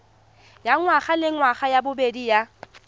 ya ngwagalengwaga ya bobedi ya